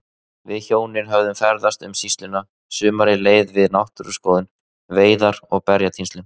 Við hjónin höfðum ferðast um sýsluna, sumarið leið við náttúruskoðun, veiðar og berjatínslu.